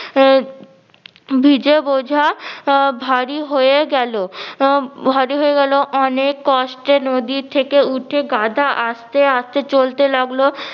আহ ভিজে বোঝা আহ ভারী হয়ে গেলো আহ ভারী হয়ে গেলো অনেক কষ্টে নদী থেকে উঠে গাধা আস্তে আস্তে চলতে লাগলো